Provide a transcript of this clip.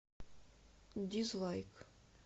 дизлайк